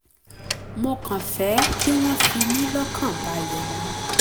mo kàn fẹ́ kí wọ́n fi mí lọ́kàn balẹ̀ ni